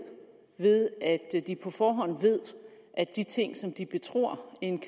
ved at de på forhånd ved at de ting som de betror en